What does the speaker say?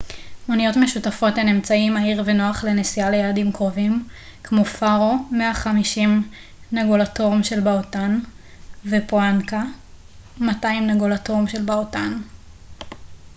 מוניות משותפות הן אמצעי מהיר ונוח לנסיעה ליעדים קרובים כמו פארו 150 נגולטרום של בהוטן ופונאקה 200 נגולטרום של בהוטן